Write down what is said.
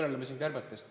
Me kõneleme siin kärbetest.